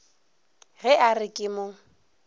ge a re ke mo